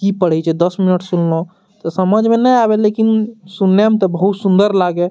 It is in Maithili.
की पढ़े छै दस मिनट सुनलो ते समझ में ते नए आवे लेकिन सुनने में ते बहुत सुन्दर लागे --